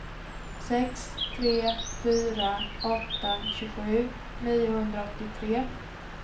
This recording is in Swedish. sex tre fyra åtta tjugosju niohundraåttiotre